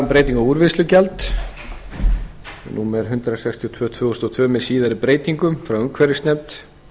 breytingu úrvinnslugjalds númer hundrað sextíu og tvö tvö þúsund og tvö með síðari breytingum frá umhverfisnefnd